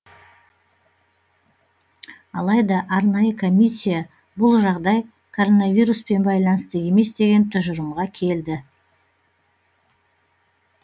алайда арнайы комиссия бұл жағдай коронавируспен байланысты емес деген тұжырымға келді